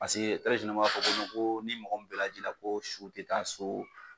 Paseke o b'a fɔ ko ko ni mɔgɔ bɛ jira ko su tɛ taa so.